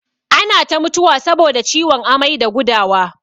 Ana ta mutuwa saboda ciwon amai da gudawa.